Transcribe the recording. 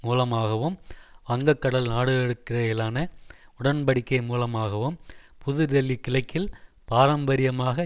மூலமாகவும் வங்கக்கடல் நாடுகளுக்கிடையிலான உடன் படிக்கை மூலமாகவும் புதுதில்லி கிழக்கில் பாரம்பரியமாக